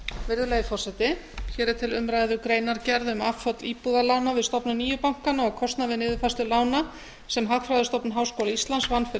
virðulegi forseti hér er til umræðu greinargerð um afföll íbúðalána við stofnun nýju bankanna og kostnað við niðurfærslu lána sem hagfræðistofnun háskóla íslands vann fyrir